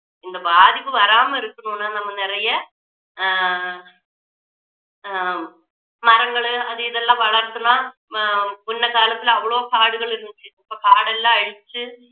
இந்த பாதிப்பு வராமல் இருக்கணும்னா நம்ம நிறைய ஆஹ் ஹம் மரங்கள் அது இது எல்லாம் வளர்த்துனா அஹ் முன்ன காலத்துல அவ்வளவு காடுகள் இருந்துச்சு இப்போ காடெல்லாம் அழிச்சு